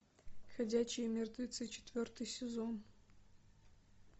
ходячие мертвецы четвертый сезон